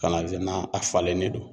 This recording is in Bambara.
Ka na a falennen don